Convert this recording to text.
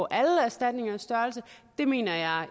alle erstatninger det mener jeg